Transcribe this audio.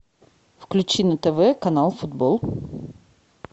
включи на тв канал футбол